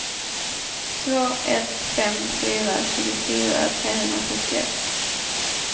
två ett fem fyra tjugofyra trehundrasjuttioett